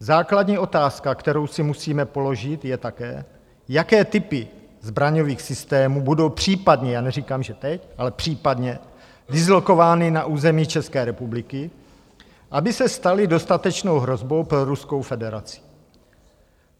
Základní otázka, kterou si musíme položit, je také, jaké typy zbraňových systémů budou případně - já neříkám, že teď, ale případně dislokovány na území České republiky, aby se staly dostatečnou hrozbou pro Ruskou federaci.